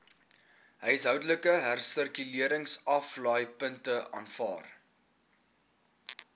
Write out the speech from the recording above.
huishoudelike hersirkuleringsaflaaipunte aanvaar